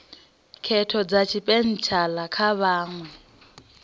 khetho dza tshipentshela kha vhaṅwe